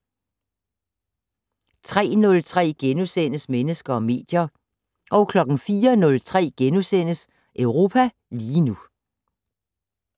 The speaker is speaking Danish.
03:03: Mennesker og medier * 04:03: Europa lige nu *